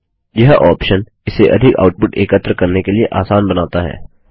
यह ऑप्शन इसे अधिक आउटपुट एकत्र करने के लिए आसान बनाता है